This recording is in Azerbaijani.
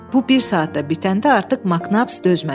Bu bir saat da bitəndə artıq Maknaps dözmədi.